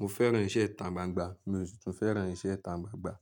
Mo fẹ́ràn iṣẹ́ ìta gbangba, mi ò sì tún fẹ́ràn iṣẹ́ ìta gbangba.